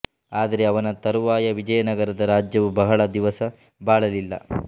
ಆದರೆ ಅವನ ತರುವಾಯ ವಿಜಯನಗರದ ರಾಜ್ಯವು ಬಹಳ ದಿವಸ ಬಾಳಲಿಲ್ಲ